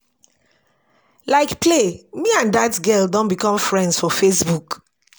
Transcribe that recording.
Like play me and dat girl don become friends for Facebook